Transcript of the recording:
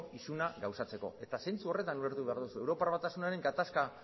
isuna gauzatzeko zentzu horretan ulertu behar duzu europar batasunaren gatazka